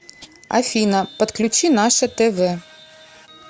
афина подключи наше тв